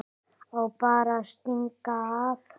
Á bara að stinga af.